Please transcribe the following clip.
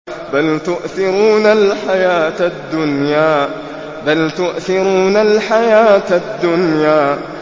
بَلْ تُؤْثِرُونَ الْحَيَاةَ الدُّنْيَا